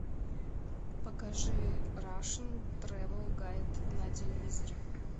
покажи рашн тревел гайд на телевизоре